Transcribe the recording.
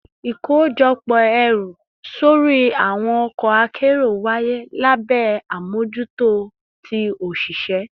Ikojọpọ ẹru sori awọn ọkọ akero waye labẹ amojuto ti oṣiṣẹ